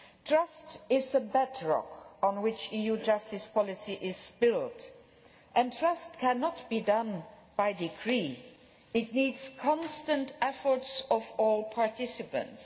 Trust is the bedrock on which EU justice policy is built and trust cannot be done by decree. It needs constant efforts by all participants.